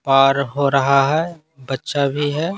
और हो रहा है बच्चा भी है।